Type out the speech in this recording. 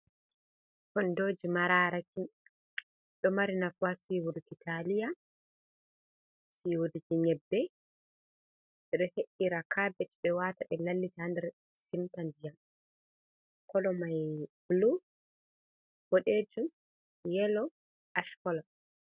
Kondoji mararaki ɗo mari nafu ha siwurgo talia, loturgo nyebbe ɓe ɗo he’ira kabej ɓe wata ɓe lallita nder simta ndiyam. Kolo mai blu, boɗejum, yelo, ash kolo.